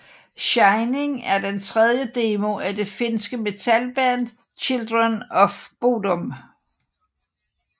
Shining er den tredje demo af det finske metalband Children of Bodom